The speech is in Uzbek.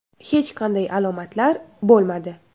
Hech qanday alomatlar bo‘lmadi.